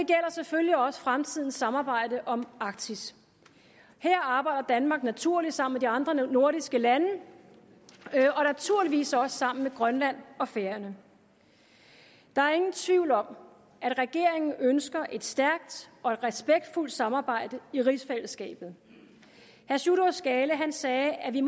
selvfølgelig også fremtidens samarbejde om arktis her arbejder danmark naturligt sammen med de andre nordiske lande og naturligvis også sammen med grønland og færøerne der er ingen tvivl om at regeringen ønsker et stærkt og et respektfuldt samarbejde i rigsfællesskabet herre sjúrður skaale sagde at det